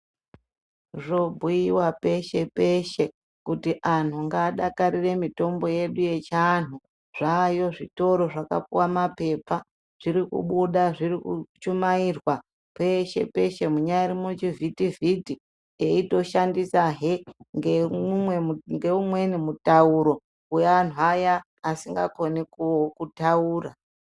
Zvobhuiwa peshe -peshe, kuti anhu ngaadakarire mutombo yedu yechianhu. Zvaayo zvitoro zvakapuwa maphepha. Zviri kubuda zviri kuchumairwa peshe-peshe munyari muchivhitivhiti, eitoshandisahe, ngemumwe ngeumweni mutauro weamweni aya asingakoni kutaura.